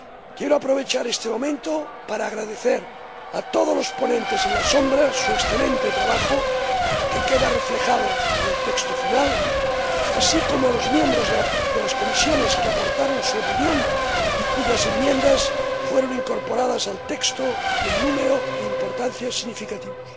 Quiero aprovechar este momento para agradecer a todos los ponentes alternativos su excelente trabajo —que queda reflejado en el texto final—, así como a los miembros de las comisiones que aportaron su opinión y cuyas enmiendas fueron incorporadas al texto en número e importancia significativos.